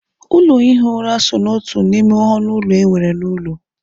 Ụlọ ihi ura so n'otu n'ime ọnụ ụlọ e nwere n'ụlọ.